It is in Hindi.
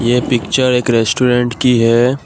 ये पिक्चर एक रेस्टोरेंट की है।